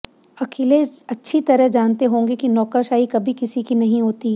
अखिलेश अच्छी तरह जानते होंगे कि नौकरशाही कभी किसी की नही होती